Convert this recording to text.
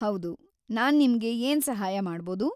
ಹೌದು, ನಾನ್‌ ನಿಮ್ಗೆ ಏನ್‌ ಸಹಾಯ ಮಾಡ್ಬೌದು?